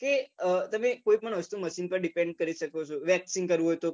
કે તમે કોઈ પણ વસ્તુ machine પર depend કરી શકો છો vaccine કરવું હોય તો